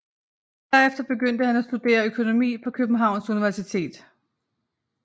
Derefter begyndte han at studere økonomi på Københavns Universitet